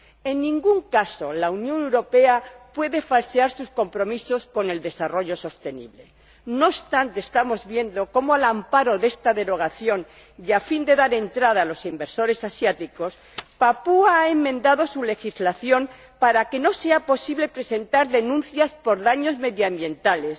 En ningún caso la Unión Europea puede falsear sus compromisos con el desarrollo sostenible. No obstante, estamos viendo como, al amparo de esta exención y a fin de dar entrada a los inversores asiáticos, Papúa Nueva guinea ha enmendado su legislación para que no sea posible presentar denuncias por daños medioambientales